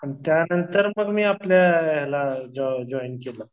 आणि त्यांनतर मग मी आपल्या जॉईन केलं.